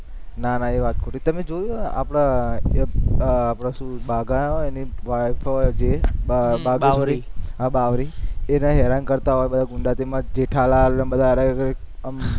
ના ના એ વાત ખોટી તમે જોયું આપણા, આપણા શું બાઘા અને એની wife જે બાવરી, હા બાવરી એને હેરાન કરતા હોય જેઠાલાલ અને બધા આમ